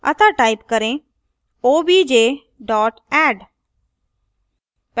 अतः type करेंobj dot add